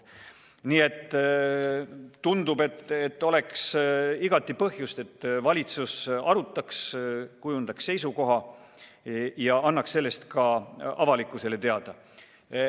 Tundub, et oleks igati põhjust, et valitsus arutaks seda, kujundaks seisukoha ja annaks sellest ka avalikkusele teada.